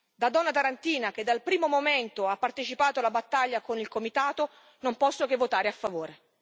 Da donna tarantina, che dal primo momento ha partecipato alla battaglia con il comitato, non posso che votare a favore.